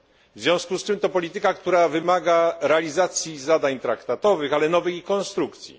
W związku z czym to polityka, która wymaga realizacji zadań traktatowych, ale i nowej ich konstrukcji.